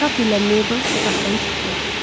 Kap ilə Mabel otaqdan çıxdılar.